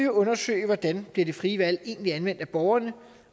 undersøge hvordan det det frie valg egentlig bliver anvendt af borgerne